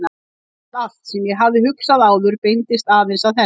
Ég vissi að allt sem ég hafði hugsað áður beindist aðeins að henni.